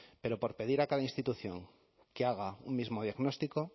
pero por pedir a cada institución que haga un mismo diagnóstico